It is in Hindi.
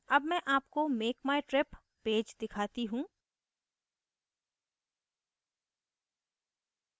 अब मैं आपको make my trip पेज दिखाती हूँ